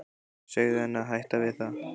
Segðu henni að hætta við það.